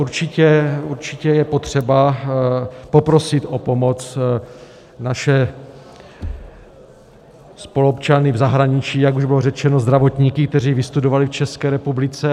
Určitě je potřeba poprosit o pomoc naše spoluobčany v zahraničí, jak už bylo řečeno, zdravotníky, kteří vystudovali v České republice.